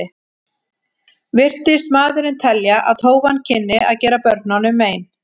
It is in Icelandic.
Virtist maðurinn telja að tófan kynni að gera börnunum mein.